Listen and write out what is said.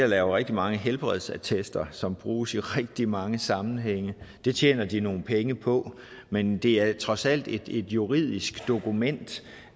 laver rigtig mange helbredsattester som bruges i rigtig mange sammenhænge og det tjener de nogle penge på men det er trods alt et juridisk dokument